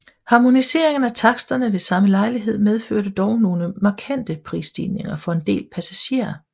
Harmoniseringen af taksterne ved samme lejlighed medførte dog nogle markante prisstigninger for en del passagerer